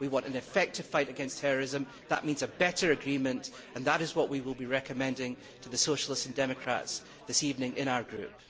we want an effective fight against terrorism, that means a better agreement and that is what we will be recommending to the Socialist and Democrats this evening in our group.